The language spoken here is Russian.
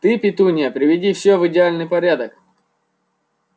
ты петунья приведи все в идеальный порядок